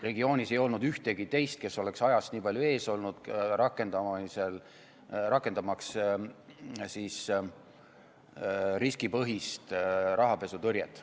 Regioonis ei olnud ühtegi teist, kes oleks ajast nii palju ees olnud, rakendamaks riskipõhist rahapesutõrjet.